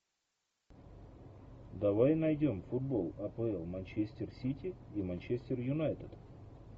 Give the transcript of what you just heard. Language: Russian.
давай найдем футбол апл манчестер сити и манчестер юнайтед